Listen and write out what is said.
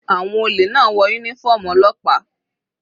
Àwọn olè náà wọ uniform ọlọ́pàá.